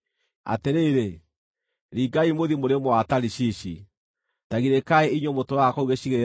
Atĩrĩrĩ, ringai mũthiĩ mũrĩmo wa Tarishishi, ta girĩkai inyuĩ mũtũũraga kũu gĩcigĩrĩra-inĩ.